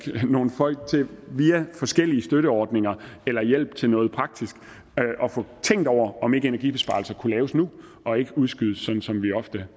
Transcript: nogle folk til via forskellige støtteordninger eller hjælp til noget praktisk at få tænkt over om ikke energibesparelser kunne laves nu og ikke udskydes som vi ofte